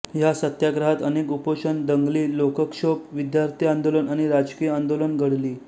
ह्या सत्याग्रहात अनेक उपोषण दंगली लोकक्षोभ विद्यार्थी आंदोलन आणि राजकिय आंदोलन घडली